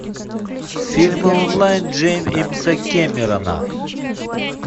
фильмы онлайн джеймса кэмерона